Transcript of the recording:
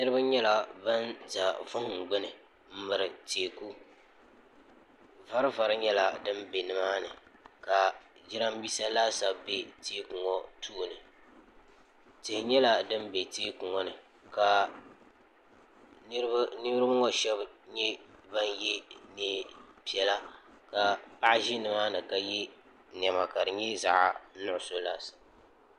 niraba nyɛla ban ʒɛ vuhum gbuni n miri teeku vari vari nyɛla din bɛ nimaani ka jiranbiisa laasabu bɛ teeku ŋɔ tooni tihi nyɛla din bɛ teeku ŋɔ ni ka niraba ŋɔ shab nyɛ ban yɛ meen piɛla ka paɣa ʒi nimaani ka yɛ niɛma ka di nyɛ zaɣ nuɣso laasabu